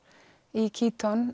í